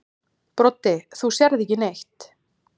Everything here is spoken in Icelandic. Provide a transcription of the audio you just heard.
Broddi: Þú sérð ekki neitt.